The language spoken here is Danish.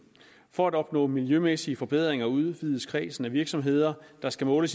for at opnå miljømæssige forbedringer udvides kredsen af virksomheder der skal måle